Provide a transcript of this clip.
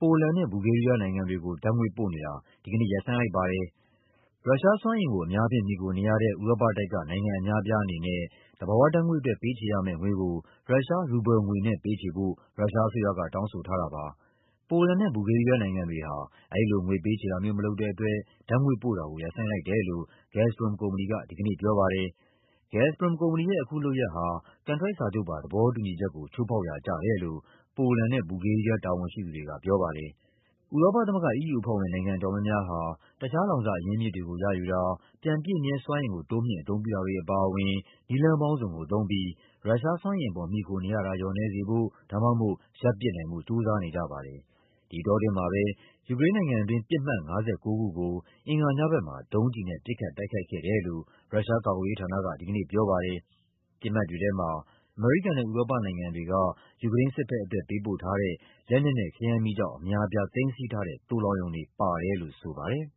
ပိုလန်နဲ့ ဘူလ်ဂေးရီးယားနိုင်ငံတွေကို ဓာတ်ငွေ့ပို့နေတာ ဒီကနေ့ ရပ်ဆိုင်းလိုက်ပါတယ်။ ရုရှားဆီစွမ်းအင်ကို အများအားဖြင့် မှီခိုနေရတဲ့ ဥရောပတိုက်က နိုင်ငံအများအပြားအနေနဲ့ သဘာဝဓာတ်ငွေ့အတွက် ပေးချေရမယ့်ငွေကို ရုရှား ရူဘယ်လ်ငွေနဲ့ပေးချေဖို့ ရုရှားအစိုးရက တောင်းဆိုထားတာပါ။ ပိုလန်နဲ့ ဘူဂလ်ဂေးရီးယားနိုင်ငံတွေဟာ အဲဒီလို ငွေပေးချေတာမျိုးမလုပ်တဲ့အတွက် ဓာတ်ငွေ့ပို့တာကို ရပ်ဆိုင်းလိုက်တယ်လို့ Gazprom ကုမ္ပဏီက ဒီကနေ့ပြောပါတယ်။ Gazprom ရဲ့ အခုလုပ်ရပ်ဟာ ကန်ထရိုက်စာချုပ်ပါ သဘောတူညီချက်ကို ချိုးဖောက်ရာကျတယ်လို့ ပိုလန်နဲ့ ဘူလ်ဂေးရီးယား တာဝန်ရှိသူတွေကပြောပါတယ်။ ဥရောပသမဂ္ဂ EU အဖွဲ့ဝင် နိုင်ငံအတော်များများဟာ တခြား လောင်စာအရင်းအမြစ်တွေ ရယူတာ၊ ပြန်ပြည့်မြဲစွမ်းအင်ကို တိုးမြှင့် အသုံးပြုတာတွေအပါအဝင် တခြားနည်းလမ်းပေါင်းစုံကိုသုံးပြီး ရုရှားစွမ်းအင်အပေါ် မှီခိုနေရတာ လျော့နည်းစေဖို့ ဒါမှမဟုတ် ရပ်ပစ်နိုင်ဖို့ ကြိုးစားနေကြပါတယ်။ ဒီအတောအတွင်းမှာပဲ ယူကရိန်းနိုင်ငံတွင်း ပစ်မှတ် ၅၉ ခုကို အင်္ဂါညဘက်မှာ ဒုံးကျည်နဲ့ ပစ်ခတ်တိုက်ခိုက်ခဲ့တယ်လို့ ရုရှား ကာကွယ်ရေးဌာနက ဒီကနေ့ပြောပါတယ်။ ပစ်မှတ်တွေထဲမှာ အမေရိကန်နဲ့ ဥရောပနိုင်ငံတွေက ယူကရိန်းစစ်ဘက်အတွက် ပေးပို့ထားတဲ့ လက်နက်နဲ့ခဲယမ်းမီးကျောက် အများအပြား သိမ်းဆည်းထားတဲ့ သိုလှောင်ရုံတွေ ပါတယ်လို့ ဆိုပါတယ်။